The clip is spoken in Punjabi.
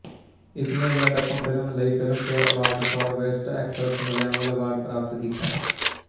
ਇਸਨੇ ਉੱਲਾਡੱਕਮ ਫ਼ਿਲਮ ਲਈ Filmfare award for best actress Malayalam award ਪ੍ਰਾਪਤ ਕੀਤਾ